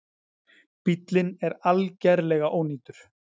Bíllinn er algerlega ónýtur